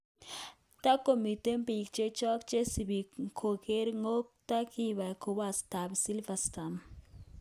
Takomiten pik chechok chesipi kogerkotko kipa komostap Silversand.